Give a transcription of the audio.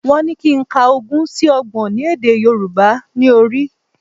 Wọ́n ní kí n ka ogún sí Ọgbọ̀n ní èdè Yorùbá ní orí